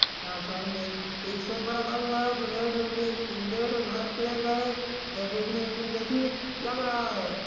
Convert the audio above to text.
यहाँ सामने एक सोफा रखा हुआ हे जो रेड और ब्लैक रेड और वाइट कलर का है यह देखने में दिलकशील लग रहा है।